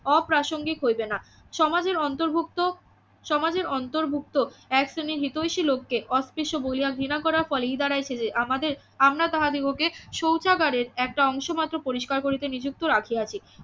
অপ্রাসঙ্গিক হইবে না সমাজের অন্তর্ভুক্ত সমাজের অন্তর্ভুক্ত এক শ্রেণীর হিতৈষী লোক কে অস্পৃশ্য বলিয়া ঘৃণা করার ফলেই দাঁড়াইছে যে আমাদের আমরা তাহাদিগকে শৌচাগারে একটা অংশ মাত্র পরিস্কার করিতে নিযুক্ত রাখিয়াছি